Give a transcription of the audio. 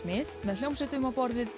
mið með hljómsveitum á borð við